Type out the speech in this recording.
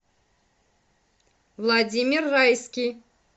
владимир райский